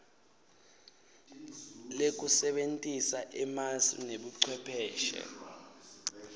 lekusebentisa emasu nebucwepheshe